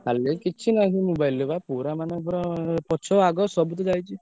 ଖାଲି କିଛି ନାଇଁ ସେଇ mobile ରେ ବା ପୁରା ମାନେ ପୁରା ପଛ ଆଗ ସବୁତ ଯାଇଛି।